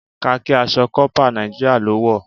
Khaki aṣọ corper Nàìjíríà lọ wọ.